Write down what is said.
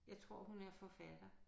Jeg tror hun er forfatter